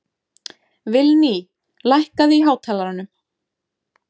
Vilný, lækkaðu í hátalaranum.